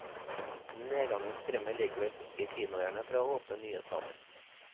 Nedgangen skremmer likevel ikke kinoeierne fra å åpne nye saler.